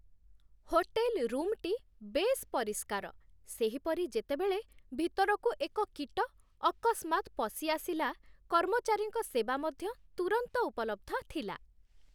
Hotel ରୁମ୍‌ଟି ବେଶ୍ ପରିଷ୍କାର, ସେହିପରି ଯେତେବେଳେ ଭିତରକୁ ଏକ କୀଟ ଅକସ୍ମାତ୍ ପଶିଆସିଲା, କର୍ମଚାରୀଙ୍କ ସେବା ମଧ୍ୟ ତୁରନ୍ତ ଉପଲବ୍ଧ ଥିଲା।